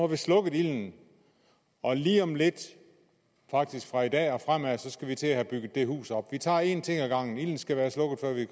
vi slukket ilden og lige om lidt faktisk fra i dag og fremad skal vi til at have bygget det hus op vi tager en ting ad gangen ilden skal være slukket før vi